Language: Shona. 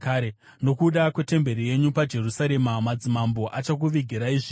Nokuda kwetemberi yenyu paJerusarema, madzimambo achakuvigirai zvipo.